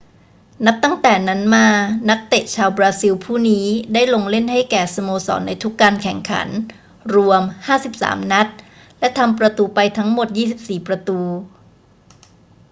นับตั้งแต่นั้นมา นักเตะชาวบราซิลผู้นี้ได้ลงเล่นให้แก่สโมสรในทุกการแข่งขันรวม 53 นัด และทำประตูไปทั้งหมด 24 ประตู